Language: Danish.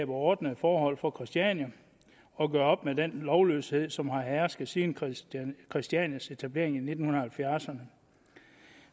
ordnede forhold for christiania og gjorde op med den lovløshed som havde hersket siden christianias christianias etablering i nitten halvfjerdserne